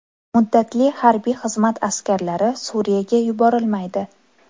Muddatli harbiy xizmat askarlari Suriyaga yuborilmaydi.